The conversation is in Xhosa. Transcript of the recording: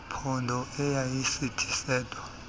phondo ayisithi sedwa